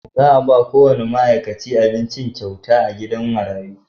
Za a ba kowane ma’aikaci abinci kyauta a gidan marayu.